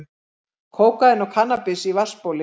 Kókaín og kannabis í vatnsbóli